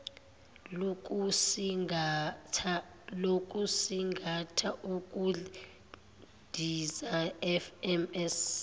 lokusingatha ukundiza fms